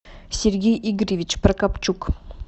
сергей игоревич прокопчук